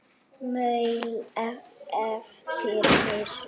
Maul eftir messu.